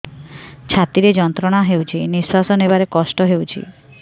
ଛାତି ରେ ଯନ୍ତ୍ରଣା ହେଉଛି ନିଶ୍ଵାସ ନେବାର କଷ୍ଟ ହେଉଛି